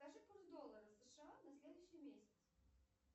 скажи курс доллара сша на следующий месяц